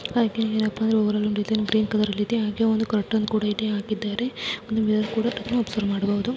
green colour ಲ್ಲಿದೆ ಹಾಗೆಯೇ ಒಂದು ಕರ್ಟೈನ್ ಕೂಡಾ ಇಲ್ಲಿ ಹಾಕಿದ್ದಾರೆ.ಒಂದು ಮಿರರ್ ಅನ್ನು ಕೂಡ ಒಬ್ಸರ್ವ್ ಮಾಡಬಹುದು